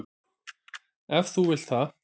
Ef þú vilt það.